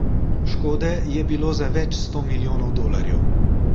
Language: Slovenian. Škode je bilo za več sto milijonov dolarjev.